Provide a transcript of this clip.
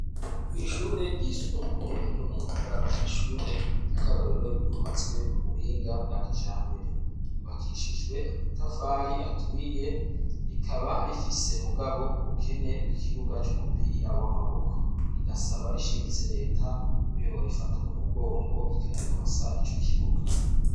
Ishure ryisumbuye ryo mu ngagara n'ishure ry'akarorero ryubatswe ku buhinga bwa kijambere yubakishijwe amatafari aturiye rikaba rifise mugabo ubukene bw'ikibuga c'umupira w'amaboko rigasaba rishimitse leta ko yobo rifata mu mugongo ikarironsa ico kibuga.